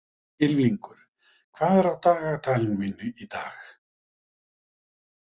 Ylfingur, hvað er á dagatalinu mínu í dag?